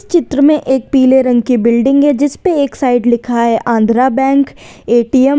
चित्र में एक पीले रंग की बिल्डिंग है जिस पर एक साइड लिखा है आंध्र बैंक ए_टी_एम ।